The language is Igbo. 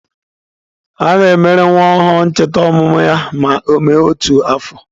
A na-emere nwa ọhụrụ ncheta ọmụmụ ya ma ọ mee otu afọ.